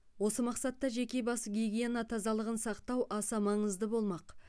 осы мақсатта жеке бас гигиена тазалығын сақтау аса маңызды болмақ